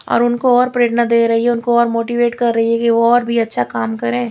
और उनको और प्रेरणा दे रही है उनको और मोटीवेट कर्र रही है और भी अच्छा काम करे --